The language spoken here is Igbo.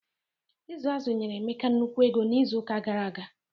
Ịzụ azụ nyere Emeka nnukwu ego n'izu ụka gara aga.